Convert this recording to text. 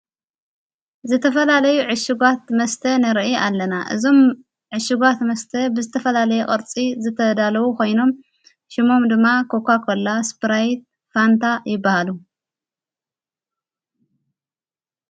ዘተፈላለዩ ዕሽጓት መስተ ነርኢ ኣለና እዞም ዕሽጓት መስተ ብዝተፈላለይ ቐርፂ ዘተዳለዉ ኾይኖም ሽሞም ድማ ኰኳ ኮላ ስጵራይት ፋንታ ይበሃሉ።